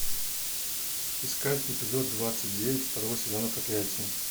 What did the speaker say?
искать эпизод двадцать девять второго сезона проклятие